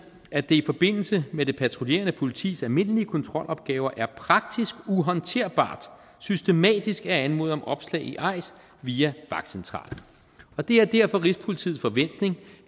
i forbindelse med det patruljerende politis almindelige kontrolopgaver er praktisk uhåndterbart systematisk at anmode om opslag i eis via vagtcentralen og det er derfor rigspolitiets forventning